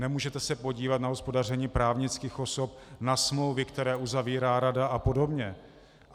Nemůžete se podívat na hospodaření právnických osob, na smlouvy, které uzavírá rada, a podobně.